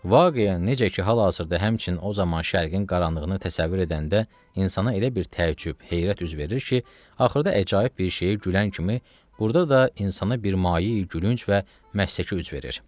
Vaqiyə necə ki hal-hazırda həmçinin o zaman Şərqin qaranlığını təsəvvür edəndə insana elə bir təəccüb, heyrət üz verir ki, axırda əcaib bir şeyə gülən kimi burda da insana bir mayei gülünc və məsəkül üz verir.